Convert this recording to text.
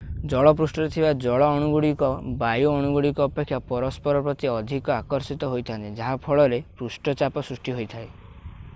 ଜଳ ପୃଷ୍ଠରେ ଥିବା ଜଳ ଅଣୁଗୁଡ଼ିକ ବାୟୁ ଅଣୁଗୁଡ଼ିକ ଅପେକ୍ଷା ପରସ୍ପର ପ୍ରତି ଅଧିକ ଆକର୍ଷିତ ହୋଇଥାନ୍ତି ଯାହା ଫଳରେ ପୃଷ୍ଠଚାପ ସୃଷ୍ଟି ହୋଇଥାଏ